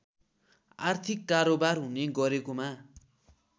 आर्थिक कारोवार हुने गरेकोमा